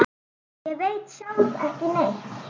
Ég veit sjálf ekki neitt.